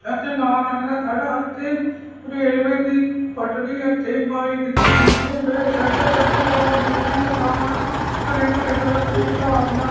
ਇੱਥੇ ਲਾਲ ਰੰਗ ਦਾ ਥੜਾ ਅਤੇ ਰੇਲਵੇ ਦੀ ਪੱਟੜੀ ਇੱਥੇ ਬਾਇਕ ਦੇ ਸੀਸੇ ਪਏ ਵਡੇ ਵਡੇ ਟਾਵਰ ਬਿਜਲੀ ਦੀਆਂ ਤਾਰਾਂ ਹਰੇ ਭਰੇ ਦਰਖੱਤ ਨੀਲਾ ਅਸਮਾਨ--